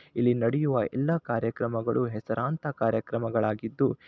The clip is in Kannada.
ಇಲ್ಲಿ ನಡೆಯುವ ಎಲ್ಲಾ ಕಾರ್ಯಕ್ರಮಗಳು ಹೆಸರಾಂತ ಕಾರ್ಯಕ್ರಮಗಳಾಗಿದ್ದು--